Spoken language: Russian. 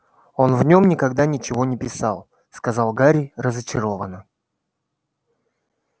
он в нем никогда ничего не писал сказал гарри разочарованно